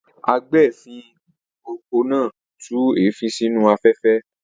Agbèéfín-okọ̀ náà tú èéfín sínú afẹ́fẹ́.